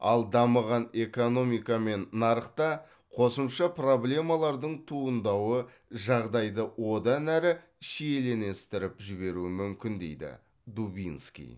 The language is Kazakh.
ал дамыған экономика мен нарықта қосымша проблемалардың туындауы жағдайды одан әрі шиеленістіріп жіберуі мүмкін дейді дубинский